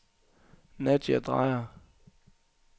Nadja Dreyer